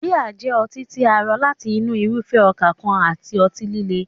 Bíà jẹ́ ọtí tí a rọ láti inú irúfẹ́ ọkà kan àti ọtí líle.